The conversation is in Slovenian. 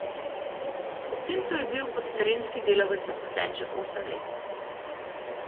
V centru je bil kot terenski delavec zaposlen že osem let.